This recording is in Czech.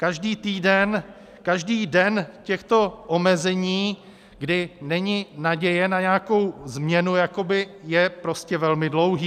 Každý týden, každý den těchto omezení, kdy není naděje na nějakou změnu, je prostě velmi dlouhý.